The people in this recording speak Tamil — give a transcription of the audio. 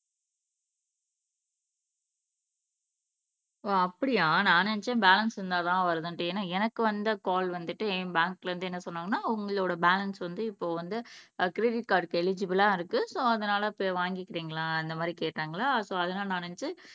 ஓ அப்படியா நான் நினைச்சேன் பேலன்ஸ் இருந்தாதான் வருதுன்னுட்டு ஏன்னா எனக்கு வந்த கால் வந்துட்டு என் பேங்க்ல இருந்து என்ன சொன்னாங்கன்னா உங்களோட பேலன்ஸ் வந்து இப்போ வந்து ஆஹ் கிரெடிட் கார்டுக்கு எலிஜிபலா இருக்கு சோ அதனால போய் வாங்கிக்கிறீங்களா இந்த மாதிரி கேட்டாங்களா சோ நான் நினைச்சேன்